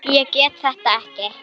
Ég get þetta ekki.